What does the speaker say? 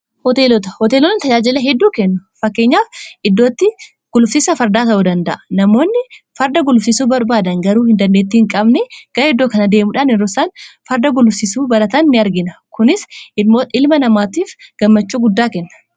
gabaaqiin taawubanii fi butika iddooganaata haajilamuun gosa garaegaraatu hilmanamaatuuf kennama kunissi namoonni gara kanadhufuudhaan kana akka barbaadan fakkeenyaaf kngosa midhaanii ta'uu danda'a gosawwan gudraalii fururaalii kana akka kafanaa fi akkasumas immoo meeshaaleew waen garaegaraa iddootti argatanii i bitataniidha